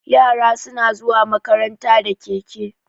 Yara suna zuwa makaranta da keke.